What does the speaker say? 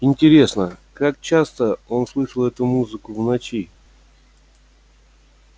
интересно как часто он слышал эту музыку в ночи